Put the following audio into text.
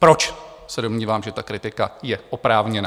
Proč se domnívám, že ta kritika je oprávněná?